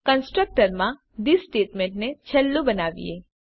constructor માં this સ્ટેટમેંટને છેલ્લું બનાવીએ